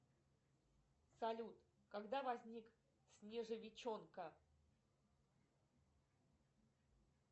салют когда возник снежовичонка